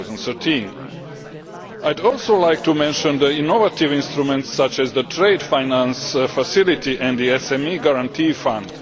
2013. I would also like to mention the innovative instruments such as the Trade Finance Facility and the SME Guarantee Fund.